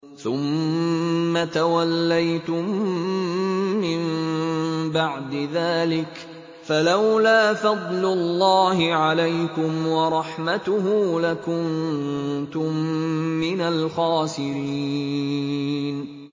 ثُمَّ تَوَلَّيْتُم مِّن بَعْدِ ذَٰلِكَ ۖ فَلَوْلَا فَضْلُ اللَّهِ عَلَيْكُمْ وَرَحْمَتُهُ لَكُنتُم مِّنَ الْخَاسِرِينَ